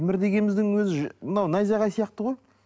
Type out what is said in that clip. мір дегеніміздің өзі мынау найзағай сияқты ғой